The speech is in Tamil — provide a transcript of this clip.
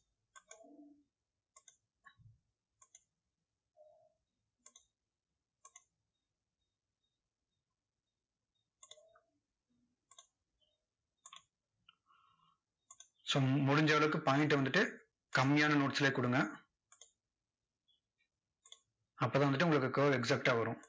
so முடிஞ்ச அளவுக்கு point அ வந்துட்டு கம்மியான notes லயே கொடுங்க. அப்போதான் வந்துட்டு உங்களுக்கு curve exact டா வரும்.